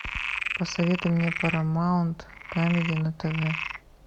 посоветуй мне парамаунт камеди на тв